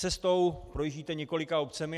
Cestou projíždíte několika obcemi.